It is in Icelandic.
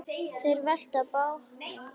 Þeir velta bátnum við.